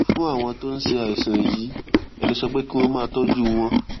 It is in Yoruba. fún àwọn tó ń ṣe àìsàn yìí ẹ lè sọ pé kí wón máa tójú wọn